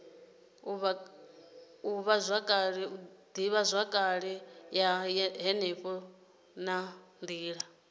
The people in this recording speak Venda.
ivhazwakale ya henefho na nila